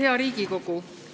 Hea Riigikogu!